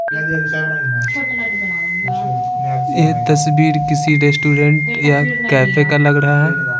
यह तस्वीर किसी रेस्टोरेंट या कैफे का लग रहा है।